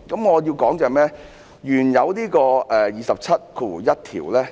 我想說的是，原本的第271條